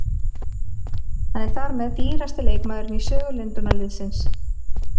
Hann er þar með dýrasti leikmaðurinn í sögu Lundúnarliðsins.